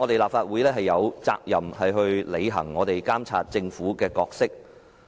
立法會有責任去履行監察政府的角色。